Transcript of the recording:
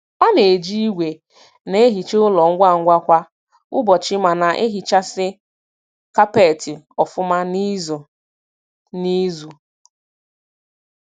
Ọ na-eji igwe na-ehicha ụlọ ngwa ngwa kwa ụbọchị ma na-ehichasi kapeti ofuma n'izu n'izu